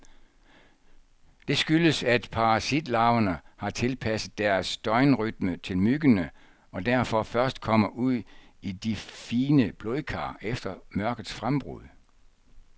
Det skyldes, at parasitlarverne har tilpasset deres døgnrytme til myggene, og derfor først kommer ud i de fine blodkar efter mørkets frembrud.